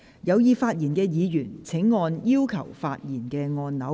有意發言的議員請按"要求發言"按鈕。